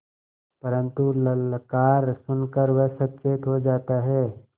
परन्तु ललकार सुन कर वह सचेत हो जाता है